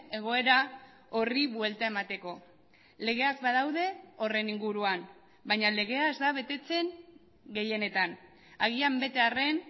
egoera horri buelta emateko legeak badaude horren inguruan baina legea ez da betetzen gehienetan agian bete arren